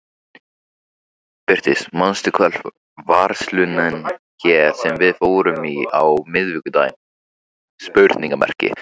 Birtir, manstu hvað verslunin hét sem við fórum í á miðvikudaginn?